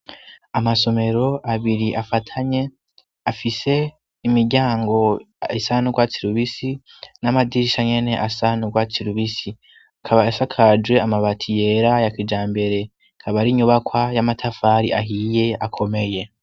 amasomero abiri afatanye afise imiryango isanurwatsi rubisi n'amadirisha nyene asanurwatsi rubisi akaba yasakajwe amabati yera ya kijambere kaba ari inyubakwa y'amatafari ahiye akomeye